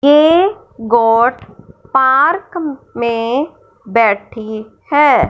ए goat park में बैठी है।